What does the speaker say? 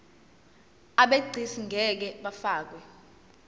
abegcis ngeke bafakwa